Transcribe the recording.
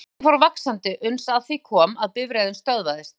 Sá hiksti fór vaxandi uns að því kom að bifreiðin stöðvaðist.